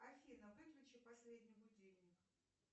афина выключи последний будильник